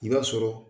I b'a sɔrɔ